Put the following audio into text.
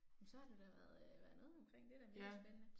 Men så har du da været øh, været noget omkring det er da mega spændende